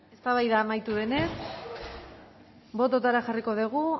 eztabaida amaitu denez botoetara jarriko dugu